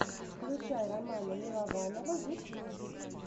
включай романа милованова ютьюб